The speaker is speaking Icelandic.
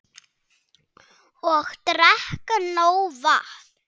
Og drekka nóg vatn.